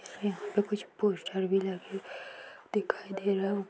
यहा पर कुछ पोस्टर भी लगे दिखाई दे रहे है।